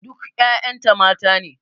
Duk ƴaƴan ta mata ne.